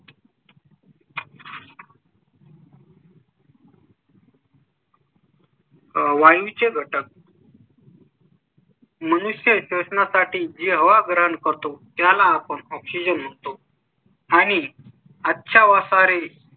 वाणी चे घटक . मनुष्या च्या सणा साठी जेव्हा ग्रहण करतो त्याला आपण oxygen लागतो. आणि अच्छा व सारे